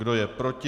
Kdo je proti?